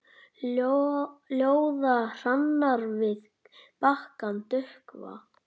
Ljóða hrannir við bakkann dökkva.